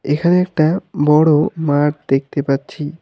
এখানে একটা বড়ো মাঠ দেখতে পাচ্ছি।